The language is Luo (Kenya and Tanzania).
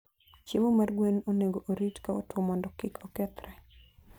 Chiemo mar gwen onego orit ka otwo mondo kik okethre.